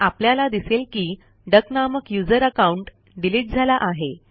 आपल्याला दिसेल की डक नामक यूझर अकाऊंट डिलीट झाला आहे